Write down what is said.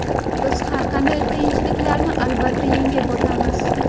biz har qanday qiyinchiliklarni albatta yengib o‘tamiz!.